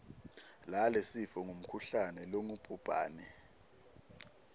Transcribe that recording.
lalesifo ngumkhuhlane longubhubhane